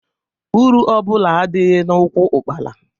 Uru ọbụla adịghị n'úkwù ụ́kpara.